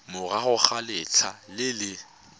morago ga letlha le le